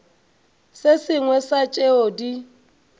se sengwe sa tšeo di